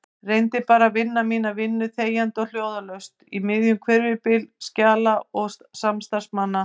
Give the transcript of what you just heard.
Reyndi bara að vinna mína vinnu þegjandi og hljóðalaust í miðjum hvirfilbyl skjala og samstarfsmanna.